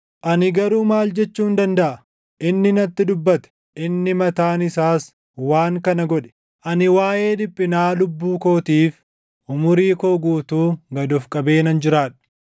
Ani garuu maal jechuun dandaʼa? Inni natti dubbate; inni mataan isaas waan kana godhe. Ani waaʼee dhiphinaa lubbuu kootiif umurii koo guutuu gad of qabee nan jiraadha.